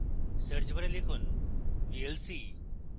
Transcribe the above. search bar লিখুন vlc